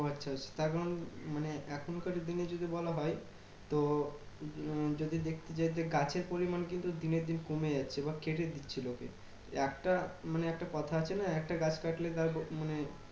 ও আচ্ছা আচ্ছা। তার এখন মানে এখন কার দিনে যদি বলা হয় তো যদি দেখতে চাই যে গাছের পরিমান কিন্তু দিনের দিন কমে যাচ্ছে বা কেটে দিচ্ছে লোকে। একটা মানে একটা কথা আছে না? একটা গাছ কাটলে তার মানে